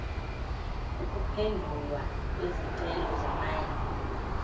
ukuphendulwa kwezicelo zamanye